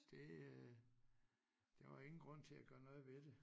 Det øh der var ingen grund til at gøre noget ved det